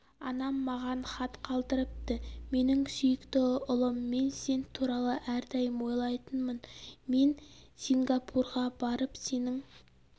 анам маған хат қалдырыпты менің сүйікті ұлым мен сен туралы әрдайым ойлайтынмын мен сингапурға барып сенің